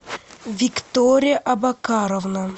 виктория абакаровна